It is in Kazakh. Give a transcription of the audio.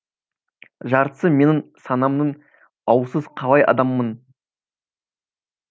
жартысы менің санамның ауылсыз қалай адаммын